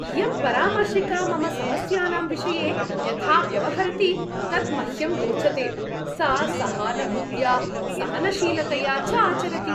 इयं परामर्शिका मम समस्यानां विषये यथा व्यवहरति तत् मह्यं रोचते। सा सहानुभूत्या, सहनशीलतया च आचरति।